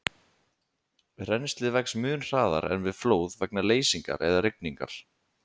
Rennslið vex mun hraðar en við flóð vegna leysingar eða rigningar.